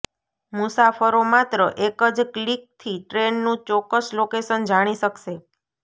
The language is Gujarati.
મુસાફરો માત્ર એક જ ક્લિકથી ટ્રેનનું ચોક્કસ લોકેશન જાણી શકશે